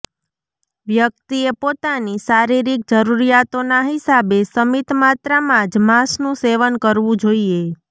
વ્યક્તિએ પોતાની શારીરિક જરુરિયાતોના હિસાબે સમિત માત્રામાં જ માંસનું સેવન કરવું જોઈએ